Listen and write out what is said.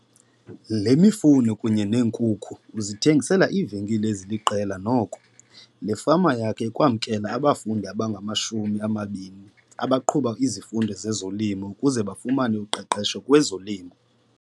Le mifuno kunye neenkukhu uzithengisela iivenkile eziliqela nhoko. Le fama yakhe ikwamkela abafundi abangama-20 abaqhuba izifundo zezolimo ukuze bafumane uqeqesho kwezolimo.